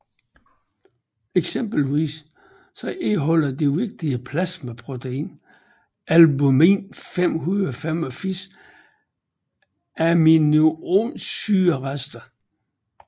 Eksempelvis indeholder det vigtige plasmaprotein albumin 585 aminosyrerester